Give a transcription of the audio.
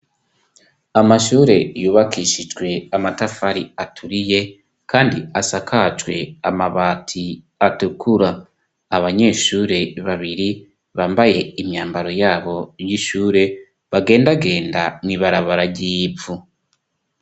Amashure yubakishijwe amatafari aturiye kandi asakajwe amabati atukura abanyeshure babiri bambaye imyambaro yabo y'ishure bagendagenda mw'ibarabara ry'ivu.